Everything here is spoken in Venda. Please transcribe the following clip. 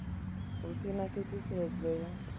hu si na khwaṱhisedzo ya